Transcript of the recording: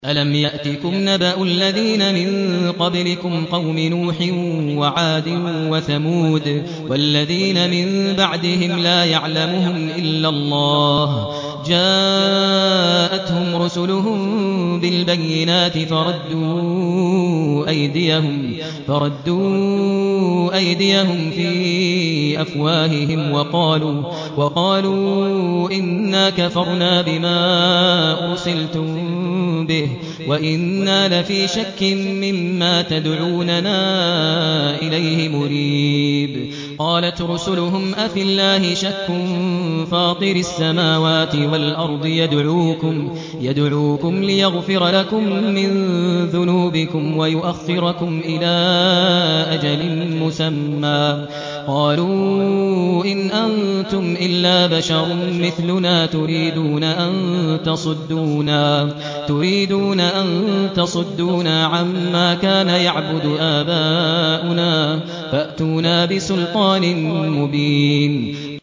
أَلَمْ يَأْتِكُمْ نَبَأُ الَّذِينَ مِن قَبْلِكُمْ قَوْمِ نُوحٍ وَعَادٍ وَثَمُودَ ۛ وَالَّذِينَ مِن بَعْدِهِمْ ۛ لَا يَعْلَمُهُمْ إِلَّا اللَّهُ ۚ جَاءَتْهُمْ رُسُلُهُم بِالْبَيِّنَاتِ فَرَدُّوا أَيْدِيَهُمْ فِي أَفْوَاهِهِمْ وَقَالُوا إِنَّا كَفَرْنَا بِمَا أُرْسِلْتُم بِهِ وَإِنَّا لَفِي شَكٍّ مِّمَّا تَدْعُونَنَا إِلَيْهِ مُرِيبٍ